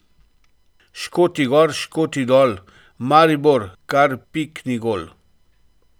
Škoti gor, Škoti dol, Maribor kar pikni gol.